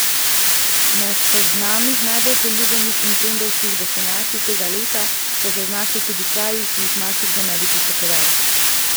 Na seznamih najbolj priljubljenih in trendovskih destinacij tega leta so se znašli tudi kraji, ki jih marsikdo ne bi pričakoval.